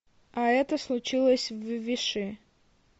а это случилось в виши